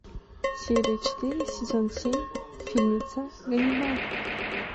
серия четыре сезон семь фильмеца ганнибал